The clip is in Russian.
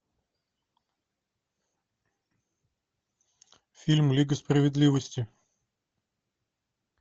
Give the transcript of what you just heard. фильм лига справедливости